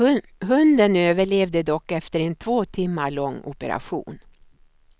Hunden överlevde dock efter en två timmar lång operation.